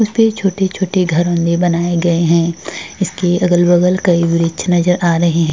उसपे छोटे छोटे घरो में बनाए गए है इसके अगल बगल कई वृक्ष नज़र आ रहे है।